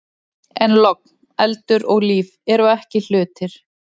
En logn, eldur og líf eru ekki hlutir.